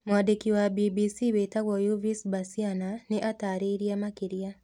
Mwandĩki wa BBC wĩtagwo Yves Bucyana nĩ ataarĩirie makĩria.